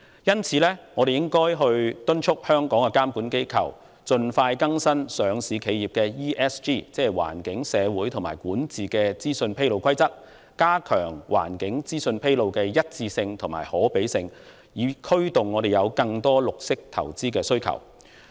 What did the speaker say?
因此，我們應催促香港的監管機構盡快更新上市企業的環境、社會及管治資訊披露規則，加強環境資訊披露的一致性和可比較性，以刺激市場對綠色投資的需求。